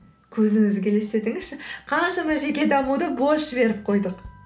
көзіңізге елестетіңізші қаншама жеке дамуды бос жіберіп қойдық